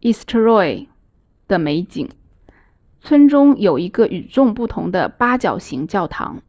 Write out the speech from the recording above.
eysturoy 的美景村中有一个与众不同的八角形教堂